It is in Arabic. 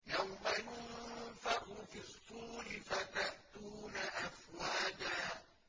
يَوْمَ يُنفَخُ فِي الصُّورِ فَتَأْتُونَ أَفْوَاجًا